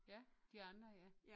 Ja de andre ja